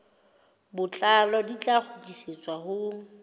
botlalo di tla kgutlisetswa ho